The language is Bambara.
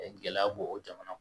Gɛlɛya bɔ o jamana